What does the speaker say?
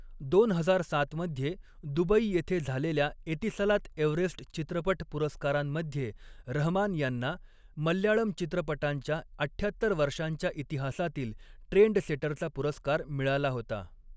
दोन हजार सात मध्ये दुबई येथे झालेल्या एतिसलात एव्हरेस्ट चित्रपट पुरस्कारांमध्ये रहमान यांना मल्याळम चित्रपटांच्या अठ्ठ्यात्तर वर्षांच्या इतिहासातील ट्रेंडसेटरचा पुरस्कार मिळाला होता.